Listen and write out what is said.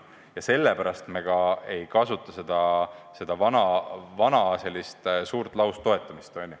Ja sellepärast me ka ei kasuta seda endist laustoetamist, eks ole.